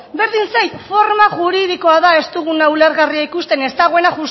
berdin zait forma juridikoa da ez duguna ulergarria ikusten ez dagoena